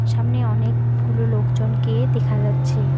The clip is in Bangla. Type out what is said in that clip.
সামনে অনেকগুলো লোকজনকে দেখা যাচ্ছে।